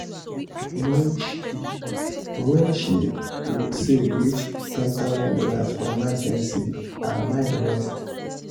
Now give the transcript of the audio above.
when she when she save reach one thousand dollars0 for emergency her mind rest